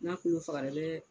N'a kolo fagara i bɛ